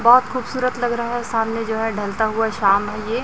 बहुत खूबसूरत लग रहा है सामने जो है ढलता हुआ शाम है ये।